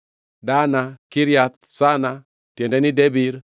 Dana, Kiriath Sana (tiende ni, Debir),